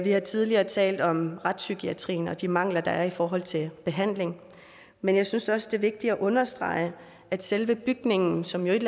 har tidligere talt om retspsykiatrien og de mangler der er i forhold til behandling men jeg synes også det vigtigt at understrege at selve bygningen som jo et